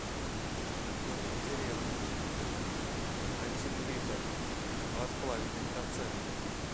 домик в деревне один литр два с половиной процента